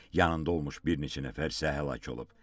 Yanında olmuş bir neçə nəfər isə həlak olub.